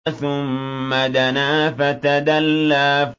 ثُمَّ دَنَا فَتَدَلَّىٰ